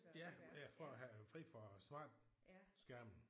Ja ja for at have fri for smart skærmen